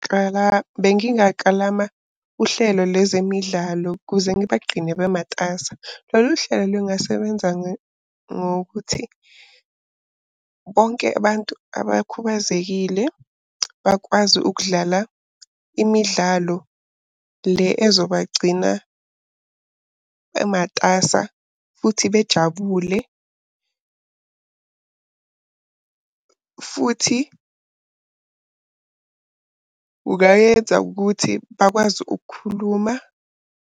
Kala, bengingakalama uhlelo lwezemidlalo ukuze ngibagqine bematasa. Lolu hlelo lungasebenza ngokuthi bonke abantu abakhubazekile bakwazi ukudlala imidlalo le ezobagcina bematasa, futhi bejabule. Futhi ungayenza ukuthi bakwazi ukukhuluma.